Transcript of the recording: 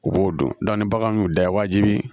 U b'o dɔn ni bagan y'u da wajibi